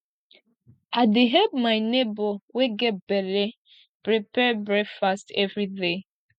i dey help my nebor wey get belle prepare breakfast everyday